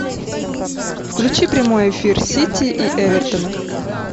включи прямой эфир сити и эвертона